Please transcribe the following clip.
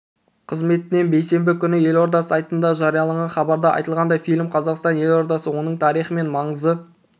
қызметінен бейсенбі күні елорда сайтында жарияланған хабарда айтылғандай фильм қазақстан елордасы оның тарихы мен маңызы